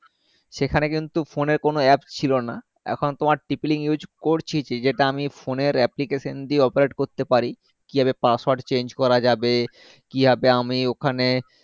সেখানে কিন্তু phone এর কোনো app ছিলোনা এখন তোমার tp link করতিছি যেটা আমি phone এর application দিয়ে operate করতে পারি কিভাবে password change করা যাবে কিভাবে আমি ওখানে